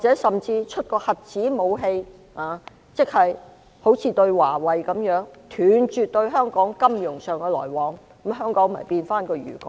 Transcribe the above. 甚至如果出動核子武器，即如對華為般，斷絕與香港的金融來往，香港便會變回漁港。